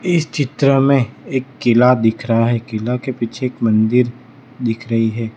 इस चित्र में एक किला दिख रहा है किला के पीछे एक मंदिर दिख रही है।